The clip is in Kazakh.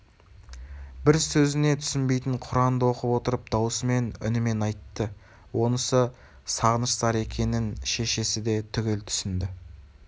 бір сөзіне түсінбейтін құранды оқып отырып даусымен үнімен айтты онысы сағыныш зары екенін шешесі де түгел түсінді